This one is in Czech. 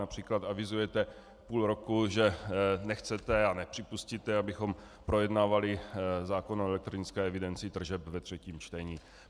Například avizujete půl roku, že nechcete a nepřipustíte, abychom projednávali zákon o elektronické evidenci tržeb ve třetím čtení.